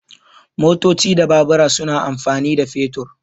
Motoci da Babura suna amfani da fetur.